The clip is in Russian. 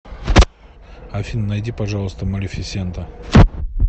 афина найди пожалуйста малефисента